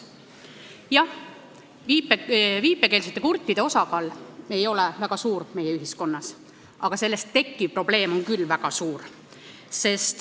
Jah, viipekeelsete kurtide osakaal ei ole meie ühiskonnas väga suur, aga sellest otsusest tekkiv probleem on küll väga suur.